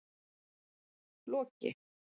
Loki